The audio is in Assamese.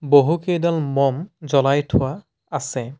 বহুকেইডাল মম জ্বলাই থোৱা আছে।